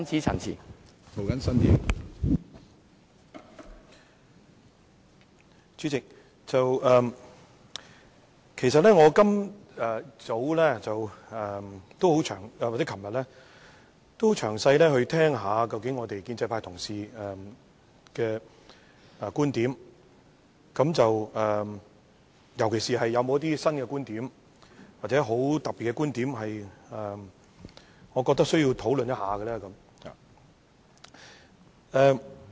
主席，其實今早和昨晚我都很認真聆聽建制派同事的觀點，尤其是聽一聽有否新觀點或很特別的觀點是我覺得需要討論一下的。